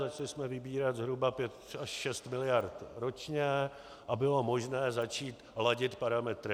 Začali jsme vybírat zhruba 5 až 6 miliard ročně a bylo možné začít ladit parametry.